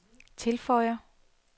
tilføjer